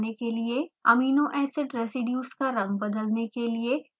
amino acid residues का रंग बदलने के लिए